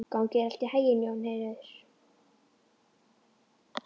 Gangi þér allt í haginn, Jónheiður.